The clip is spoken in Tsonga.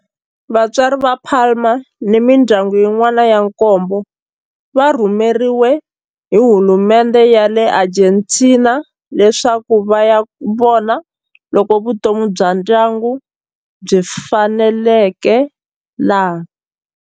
Vatswari va Palma ni mindyangu yin'wana ya nkombo va rhumeriwe hi hulumendhe ya le Argentina leswaku va ya vona loko vutomi bya ndyangu byi faneleka laha.